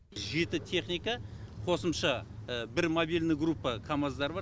жеті техника қосымша бір мобильный группа камаздар бар